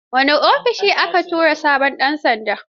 Wane ofishi aka tura sabon ɗan sandan?